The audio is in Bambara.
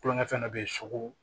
Kulonkɛfɛn dɔ bɛ yen soko